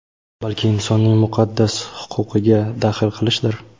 balki insonning muqaddas huquqiga daxl qilishdir.